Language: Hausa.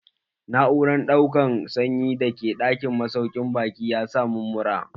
Na'uran ɗaukan sanyi da ke ɗakin masaukin baƙi ya sa mun mura.